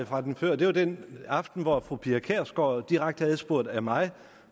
fra den før det var den aften hvor fru pia kjærsgaard direkte adspurgt af mig